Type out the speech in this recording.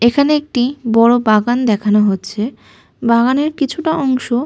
এখানে একটি বড় বাগান দেখানো হচ্ছে। বাগানের কিছুটা অংশ--